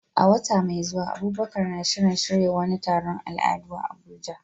A wata mai zuwa, Abubakar na shirin shirya wani taron al'adu a Abuja.